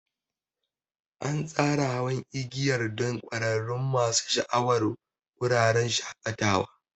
An tsara hawan igiyar don ƙwararrun masu sha'awar wuraren shakatawa.